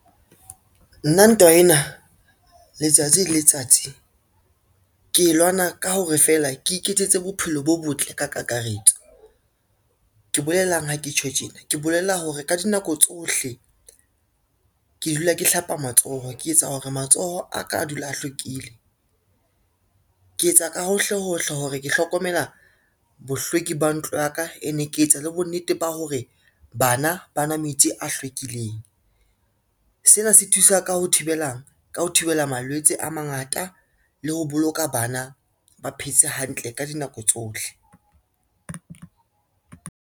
Nna ntwa ena letsatsi le letsatsi, ke e lwana ka hore feela ke iketsetse bophelo bo botle ka kakaretso. Ke bolelang ha ke tjho tjena, ke bolela hore ka dinako tsohle ke dula ke hlapa matsoho, ke etsa hore matsoho a ka a dula a hlwekile. Ke etsa ka hohle hohle hore ke hlokomela bohlweki ba ntlo ya ka ene ke etsa le bonnete ba hore bana banwa metsi a hlwekileng. Sena se thusa ka ho thibelang, ka ho thibela malwetse a mangata le ho boloka bana ba phetse hantle ka dinako tsohle.